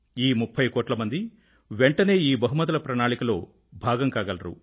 ఈ 30 కోట్ల మంది వెంటనే ఈ బహుమతుల ప్రణాళికలో భాగం కాగలరు